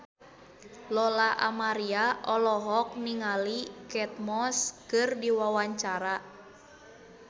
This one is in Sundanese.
Lola Amaria olohok ningali Kate Moss keur diwawancara